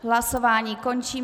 Hlasování končím.